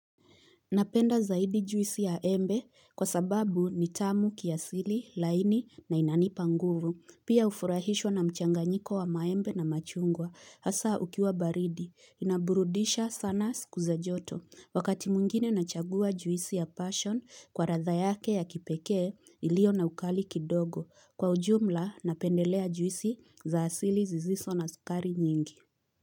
Napenda zaidi juisi ya embe kwa sababu nitamu kiasili, laini na inanipa nguvu, pia ufurahishwa na mchanga nyiko wa maembe na machungwa, hasa ukiwa baridi, inaburudisha sana sikuza joto, wakati mwngine nachagua juisi ya passion kwa ratha yake ya kipeke. Ilio na ukali kidogo, kwa ujumla napendelea juisi za asili ziziso na sukari nyingi.